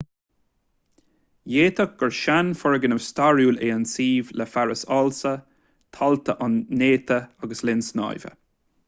d'fhéadfadh gur seanfhoirgneamh stairiúil é an suíomh le fearas ársa tailte an-néata agus linn snámha